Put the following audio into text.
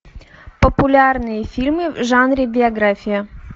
популярные фильмы в жанре биография